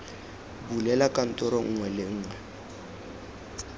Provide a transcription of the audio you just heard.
bulela kantoro nngwe le nngwe